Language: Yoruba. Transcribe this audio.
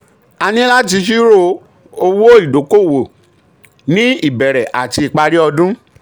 a níláti ṣírò owó ìdókòwò ní ìbẹ̀rẹ̀ àti ìparí ọdún.